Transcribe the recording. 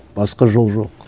басқа жол жоқ